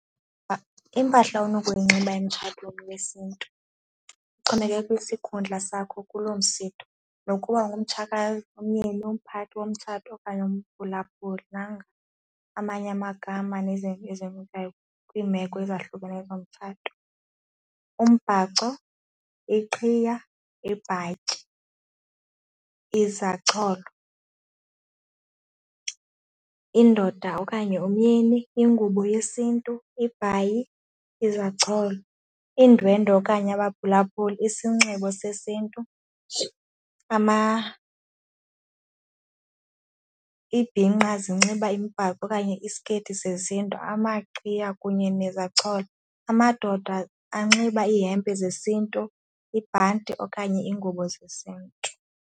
Impahla onokuyinxiba emtshatweni yesiNtu kuxhomekeke kwisikhundla sakho kuloo msitho nokuba umgumtshakazi, umyeni umphathi womtshato okanye umphulaphuli. Nanga amanye amagama nezinto kwiimeko ezahlukeneyo zomtshato, umbhaco, iqhiya, ibhatyi, izacholo, indoda okanye umyeni, ingubo yesiNtu, ibhayi, izacholo, iindwendwe okanye abaphulaphuli isinxibo sesiNtu, iibhinqa zinxiba imibhaco okanye isiketi zesiNtu amaqhiya kunye nezacholo. Amadoda anxiba ihempe zesiNtu, ibhanti okanye iingubo zesiNtu.